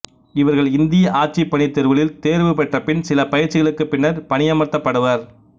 இவர்கள் இந்திய ஆட்சிப் பணித் தேர்வுகளில் தேர்வு பெற்ற பின் சில பயிற்சிகளுக்குப் பின்னர் பணியமர்த்தப்படுவர்